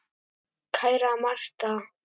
Kæra Martha.